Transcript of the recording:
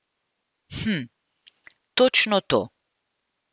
Hm, točno to!